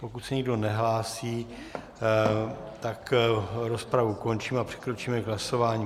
Pokud se nikdo nehlásí, tak rozpravu končím a přikročíme k hlasování.